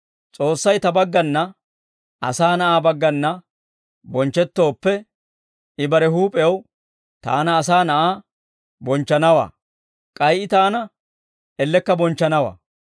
S'oossay Ta baggana, Asaa Na'aa baggana bonchchettooppe, I bare huup'ew Taana Asaa Na'aa bonchchanawaa; k'ay I Taana ellekka bonchchanawaa.